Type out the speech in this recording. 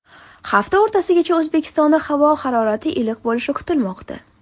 Hafta o‘rtasigacha O‘zbekistonda havo iliq bo‘lishi kutilmoqda.